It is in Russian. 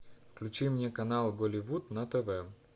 включи мне канал голливуд на тв